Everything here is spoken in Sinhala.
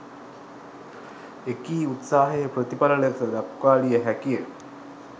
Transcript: එකී උත්සාහයේ ප්‍රතිඵල ලෙස දක්වාලිය හැකි ය.